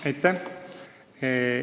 Aitäh!